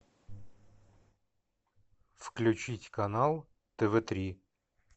включить канал тв три